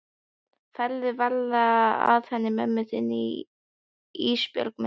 Farðu varlega að henni mömmu þinni Ísbjörg mín.